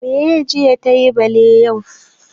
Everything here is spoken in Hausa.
Meye jiya tayi bale yau?